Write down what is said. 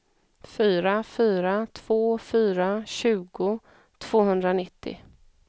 fyra fyra två fyra tjugo tvåhundranittio